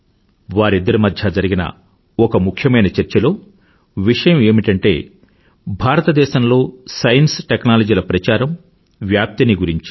వారిద్దరి మధ్య జరిగిన ఒక ముఖ్యమైన చర్చలో విషయం ఏమిటంటే భారతదేశంలో సైన్స్ టెక్నాలజీ ల ప్రచారము వ్యాప్తి ని గురించి